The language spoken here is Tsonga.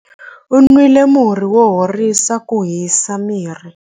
U nwile murhi wo horisa ku hisa miri.